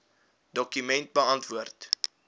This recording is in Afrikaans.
dokument beantwoord